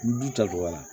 N du ta dɔgɔya